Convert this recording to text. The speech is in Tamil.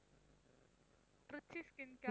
Trichy skin care